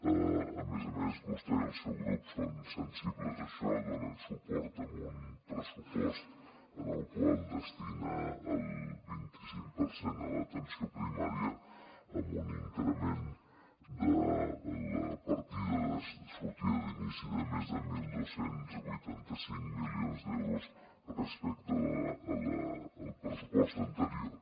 a més a més vostè i el seu grup són sensibles a això donen suport a un pressupost en el qual es destina el vinticinc per cent a l’atenció primària amb un increment de la partida de sortida d’inici de més de dotze vuitanta cinc milions d’euros respecte al pressupost anterior